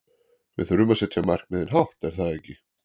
Við þurfum að setja markmiðin hátt er það ekki?